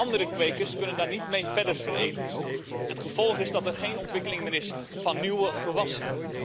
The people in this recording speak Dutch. Andere kwekers kunnen daar niet mee verder veredelen en het gevolg is dat er geen ontwikkeling meer is van nieuwe gewassen.